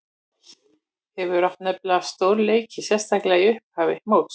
Hefur átt nokkra stórleiki, sérstaklega í upphafi móts.